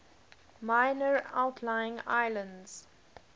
minor outlying islands